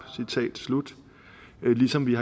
ligesom vi